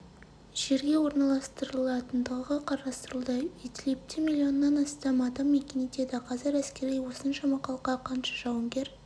жерге орналастырылатындығы қарастырылуда идлибте миллионнан астам адам мекен етеді қазір әскерилер осыншама халыққа қанша жауынгер